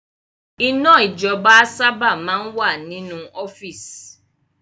Iná ijọba sábà máa ń wà nínú ọ́fíìsì